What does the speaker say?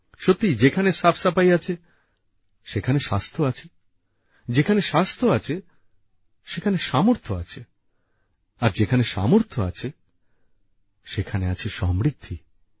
সত্যিই যেখানে সাফ সাফাই আছে সেখানে স্বাস্থ্য আছে যেখানে স্বাস্থ্য আছে সেখানে সামর্থ্য আছে আর যেখানে সামর্থ্য আছে সেখানে আছে সমৃদ্ধি